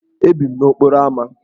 Ebi m n'okporo ámá.